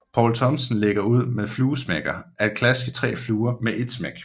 Poul Thomsen lægger ud med fluesmækker at klaske 3 fluer med et smæk